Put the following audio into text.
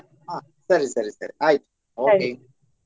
ಹ ಸರಿ ಸರಿ ಸರಿ ಆಯ್ತ okay .